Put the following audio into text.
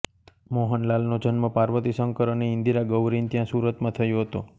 મોહનલાલનો જન્મ પાર્વતીશંકર અને ઈન્દિરાગૌરીને ત્યાં સુરતમાં થયો હતો